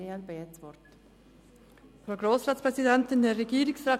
Das Wort hat Grossrätin Mühlheim.